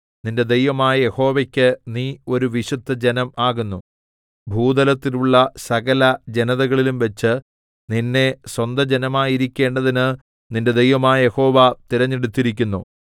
നിന്റെ ദൈവമായ യഹോവയ്ക്ക് നീ ഒരു വിശുദ്ധജനം ആകുന്നു ഭൂതലത്തിലുള്ള സകല ജനതകളിലുംവച്ച് നിന്നെ സ്വന്തജനമായിരിക്കേണ്ടതിന് നിന്റെ ദൈവമായ യഹോവ തിരഞ്ഞെടുത്തിരിക്കുന്നു